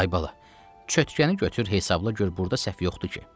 Ay bala, çötkəni götür, hesabla gör burda səhv yoxdur ki.